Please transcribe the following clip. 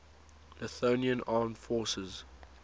lithuanian armed forces